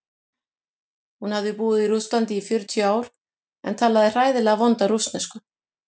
Hún hafði búið í Rússlandi í fjörutíu ár en talaði hræðilega vonda rússnesku.